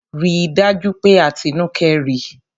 Rí dájú pé Atinúkẹ́ rí!